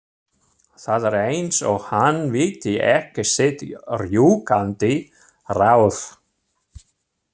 Það er eins og hann viti ekki sitt rjúkandi ráð.